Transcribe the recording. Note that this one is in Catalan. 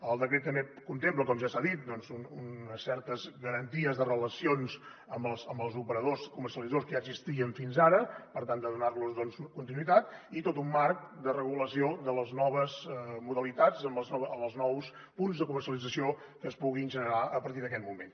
el decret també contempla com ja s’ha dit doncs unes certes garanties de relacions amb els operadors comercialitzadors que ja existien fins ara per tal de donarlos continuïtat i tot un marc de regulació de les noves modalitats amb els nous punts de comercialització que es puguin generar a partir d’aquest moment